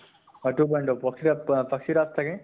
অʼ two point o পক্ষীৰাজ পাক্ষী ৰাজ থাকে ।